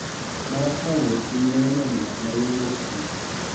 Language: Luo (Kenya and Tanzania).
Mana kaka ng�et piny ma yo nyandwat ma yo wuok chieng�.